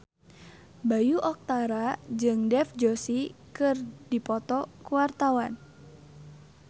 Bayu Octara jeung Dev Joshi keur dipoto ku wartawan